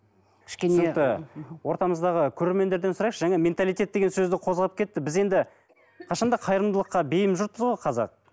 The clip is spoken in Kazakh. ортамыздағы көрермендерден сұрайықшы жаңа менталитет деген сөзді қозғап кетті біз енді қашан да қайырымдылыққа бейім жұртпыз ғой қазақ